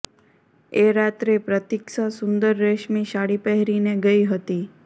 એ રાત્રે પ્રતીક્ષા સુંદર રેશમી સાડી પહેરીને ગઈ હતી